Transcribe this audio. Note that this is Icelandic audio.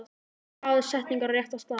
Dragðu setningar á rétta staði.